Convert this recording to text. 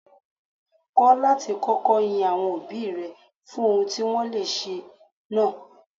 Kọ́ láti kọ́kọ́ yin àwọn òbí rẹ fún ohun tí wọ́n le ṣe náà.